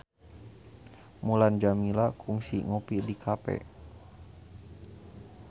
Mulan Jameela kungsi ngopi di cafe